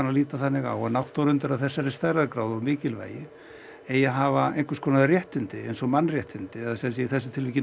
að líta þannig á að náttúruundur af þessari stærðargráðu og mikilvægi eigi að hafa einhvers konar réttindi eins og mannréttindi en í þessu tilfelli